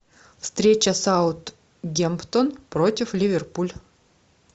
встреча саутгемптон против ливерпуль